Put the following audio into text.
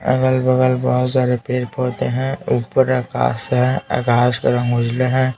अगल बगल बहुत सारे पेड़ पौधे है ऊपर आकाश है आकाश के रंग उजला है.